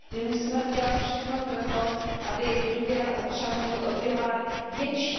My musíme udělat všechno pro to, aby důvěra občanů byla větší.